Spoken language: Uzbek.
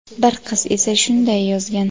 bir qiz esa shunday yozgan:.